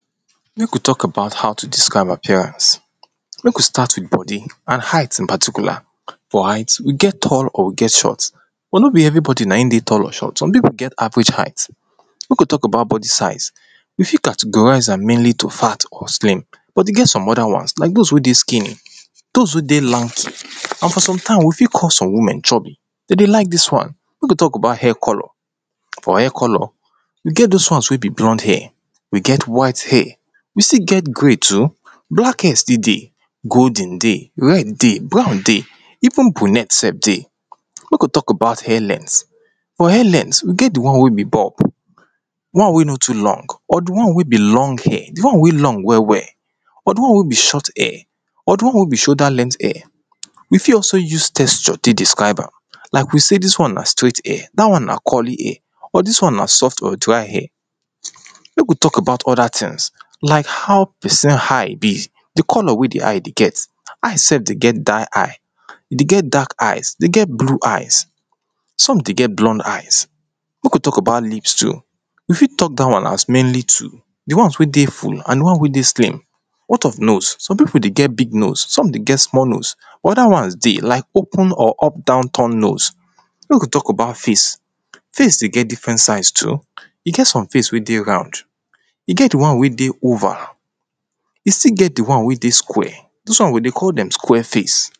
mek we talk about how to describe appearance mek we start with bodi and height in particular for height, we get tall or we get short but no be everibodi nain dey tall or short, some pipu get average height. mek we talk about bodi size if we categorize am mainly to fat or slim. but e get some other wan like those wey dey skinny, those wey dey lanky, and sometimes we fit call some women chubby. to dey like dis wan, mek we talk about hair color. for hair color, e get those wons wey be blond hair, we get white hair, we still get grey too, black hair still dey, golden dey, red dey, brown dey, even brunette self dey. mek we talk about hair length. for hair lengtht, we get di won wey be bulb di won wey no tu long, or di won wey be long hair, di won wey long well well, or di won wey be short hair, or di won wey be shoulder length hair. we fit also use textur tek describ am like we say dis won na straight hair, dat won na curly hair, or dis won na soft or dry hair mek we talk about other tins like how pesin eye be. di color wey di eye dey get, eye self dey get die eye, dey get dark eye, dey get blue eye, some dey get blond eye. mek we talk about lips tu we fit talk dat wan as mainly two. di wons wey dey full and di won wey dey slim. what of nose?, some pipu dey get big nose some dey get small nose. but other wans dey like open or up down turn nose. mek we talk about face. face dey get different size too e get some face wey dey round, e get di won wey dey oval e still get di wan wey dey square those won we dey call dem square face.